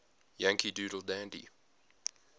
yankee doodle dandy